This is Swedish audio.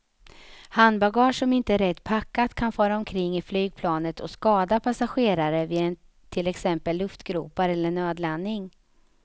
Handbagage som inte är rätt packat kan fara omkring i flygplanet och skada passagerare vid till exempel luftgropar eller nödlandning.